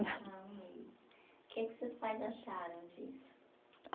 Ah, um mês, que é que seus pais acharam disso?